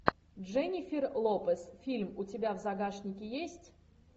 дженнифер лопес фильм у тебя в загашнике есть